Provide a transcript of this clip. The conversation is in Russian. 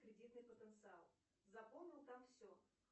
кредитный потенциал заполнил там все